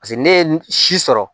paseke ne ye si sɔrɔ